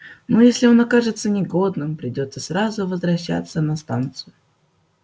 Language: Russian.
но если он окажется негодным придётся сразу возвращаться на станцию